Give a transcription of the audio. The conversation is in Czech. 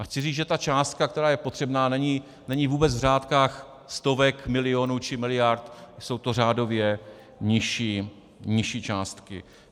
A chci říct, že ta částka, která je potřebná, není vůbec v řádkách stovek milionů či miliard, jsou to řádově nižší částky.